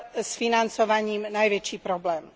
s financovaním najväčší problém.